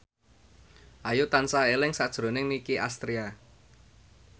Ayu tansah eling sakjroning Nicky Astria